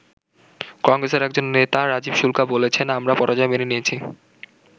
কংগ্রেসের একজন নেতা রাজীব শুল্কা বলেছেন, আমরা পরাজয় মেনে নিয়েছি।